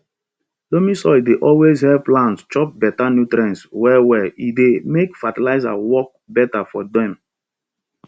loamy soil dey always help plants chop better nutrients well well e dey make fertilizer work better for dem